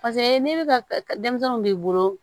ne bɛ ka denmisɛnninw b'i bolo